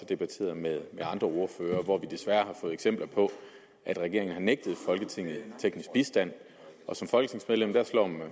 debatteret med andre ordførere hvor vi desværre har fået eksempler på at regeringen har nægtet folketinget teknisk bistand og som folketingsmedlem